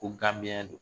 Ko ganbiɲɛn don